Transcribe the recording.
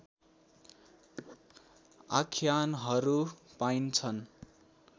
आख्यानहरू पाइन्छन्